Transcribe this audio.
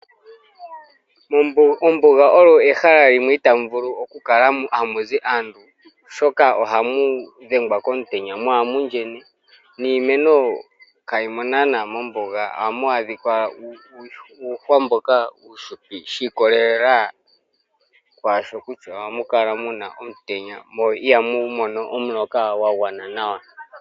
Ombuga oyo ehala limwe itaa mu vulu oku kala ha mu zi aantu oshoka oha mudhengwa komutenya mo oha muyenye, niimeno ka yimo naana mombuga oha mu adhika uuhwa mboka uufupi shi ikolelela kwaasho kutya oha mukala muna omutenya mo iha mumono omuloka gwa gwana nawa.